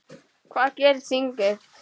Hvað gerir þingið?